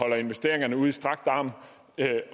jeg